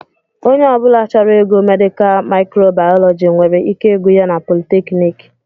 Onye ọbula chọrọ ịgụ Medikal mikro Baalọji nwere ike ịgụ ya na politekniki.